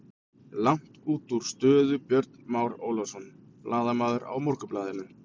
Langt útúr stöðu Björn Már Ólafsson, blaðamaður á Morgunblaðinu.